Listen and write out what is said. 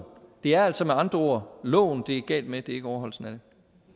det er altså med andre ord loven det er galt med det er ikke overholdelsen